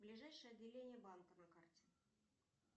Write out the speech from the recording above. ближайшее отделение банка на карте